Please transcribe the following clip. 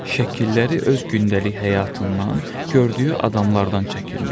Şəkilləri öz gündəlik həyatından, gördüyü adamlardan çəkirmiş.